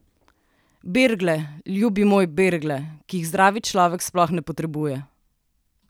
Bergle, ljubi moj, bergle, ki jih zdrav človek sploh ne potrebuje!